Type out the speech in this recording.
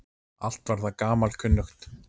Allt var það gamalkunnugt.